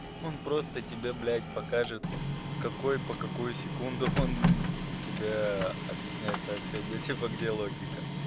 он просто тебе блядь покажет с какой по какую секунду он у тебя объясняет сообщение типа где логика